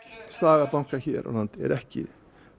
saga bankanna hér á landi er ekki